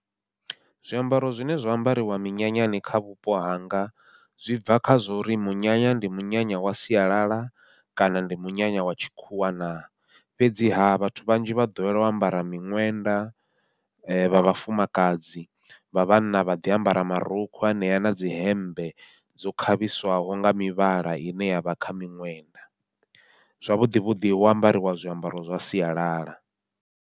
Zwiambaro zwine zwa ambariwa minyanyani kha vhupo hanga, zwi bva kha zwori munyanya ndi munyanya wa sialala kana ndi munyanya wa tshikhuwa na, fhedziha vhathu vhanzhi vha ḓowela u ambara miṅwenda vha vhafumakadzi vha vhanna vha ḓi ambara marukhu anea nadzi hemmbe dzo khavhiswaho nga mivhala ine yavha kha miṅwenda, zwavhuḓi vhuḓi hu ambariwa zwiambaro zwa sialala.